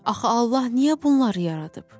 Axı Allah niyə bunları yaradıb?